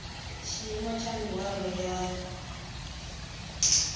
tshiimo tsha mihwalo ya dzgmo